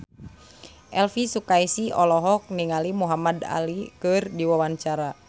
Elvy Sukaesih olohok ningali Muhamad Ali keur diwawancara